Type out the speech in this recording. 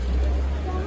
Ay oğul, ey.